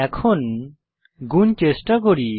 এখন গুণ চেষ্টা করি